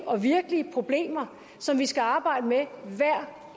og virkelige problemer som vi skal arbejde med hver